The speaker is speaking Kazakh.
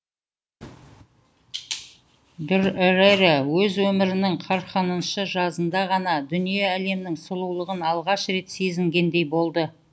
дүрэрэ өз өмірінің қырықыншы жазында ғана дүние әлемнің сұлулығын алғаш рет сезінгендей болды